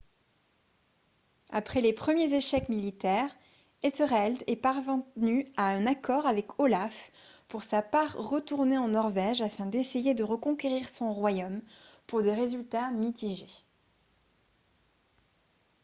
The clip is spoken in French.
après les premiers échecs militaires ethereld est parventu à un accord avec olaf pour sa part retourné en norvège afin d'essayer de reconquérir son royaume pour des résultats mitigés